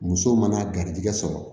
Muso mana garijigɛ sɔrɔ